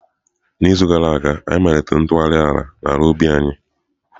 N'izu gara aga, anyị malitere ntụgharị ala n'ala ubi anyị.